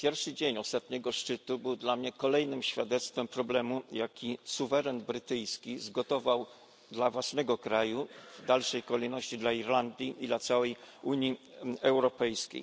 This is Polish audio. Pierwszy dzień ostatniego szczytu był dla mnie kolejnym świadectwem problemu, jaki suweren brytyjski zgotował dla własnego kraju, w dalszej kolejności dla Irlandii i dla całej Unii Europejskiej.